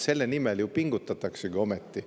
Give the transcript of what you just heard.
Selle nimel ju ometi pingutataksegi!